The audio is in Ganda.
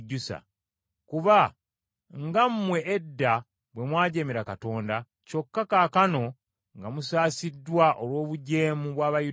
Kuba nga mmwe edda bwe mwajeemera Katonda, kyokka kaakano nga musaasiddwa olw’obujeemu bw’Abayudaaya,